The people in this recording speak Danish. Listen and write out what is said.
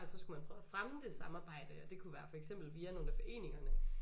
At så skulle man prøve at fremme det samarbejde og det kunne være for eksempel via nogle af foreningerne